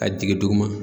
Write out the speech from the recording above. A jigin duguma